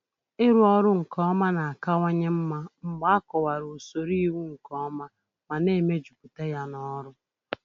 Ịrụ ọrụ nke ọma na-akawanye mma mgbe a kọwara usoro iwu nke ọma ma na-emejuputa ya n'ọrụ.